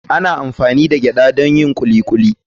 Ana amfani da gyada don yin kuli kuli.